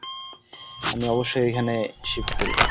আমি অবশ্যই এখানে shift করব।